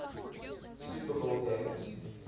super bowl games